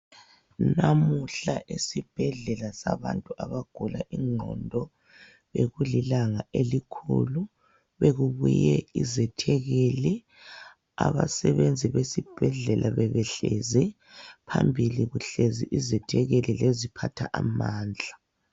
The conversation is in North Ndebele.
Namuhla esibhedlela sabantu abagula ingqondo, bekulilanga elikhulu! Bekubuye izethekeli. Abasebenzi besibhedlela bebehlezi. Phambili kuhlezi izethekeli leziphathamandla.